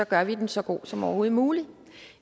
gør vi den så god som overhovedet muligt